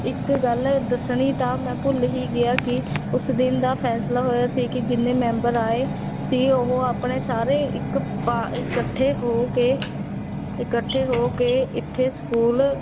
ਇੱਕ ਗੱਲ ਦੱਸਣੀ ਤਾਂ ਮੈਂ ਭੁੱਲ ਹੀ ਗਿਆ ਕਿ ਉਸ ਦਿਨ ਦਾ ਫੈਸਲਾ ਹੋਇਆ ਸੀ ਕਿ ਜਿੰਨੇ ਮੈਂਬਰ ਆਏ ਸੀ ਉਹ ਆਪਣੇ ਸਾਰੇ ਇੱਕ ਪਾ ਇਕੱਠੇ ਹੋ ਕੇ ਇਕੱਠੇ ਹੋ ਕੇ, ਇੱਥੇ school